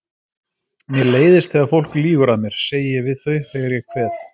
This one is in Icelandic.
Mér leiðist þegar fólk lýgur að mér, segi ég við þau þegar ég kveð.